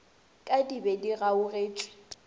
ka di be di gagotšwe